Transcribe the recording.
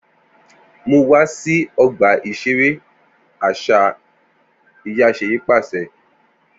Mu wa si ọgba iṣere aṣa iya Seyi paṣẹ